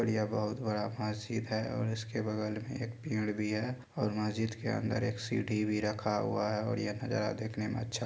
और यह बहुत बड़ा मस्जिद है और इसके बगल में एक पेड़ भी है और मस्जिद के अंदर एक सीढ़ी भी रखा हुआ है और ये नज़ारा देखने में अच्छा है।